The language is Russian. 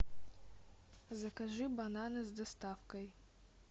закажи бананы с доставкой